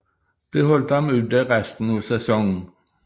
Det holdt ham ude resten af sæsonen